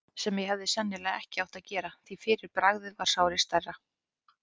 sem ég hefði sennilega ekki átt að gera, því fyrir bragðið varð sárið stærra.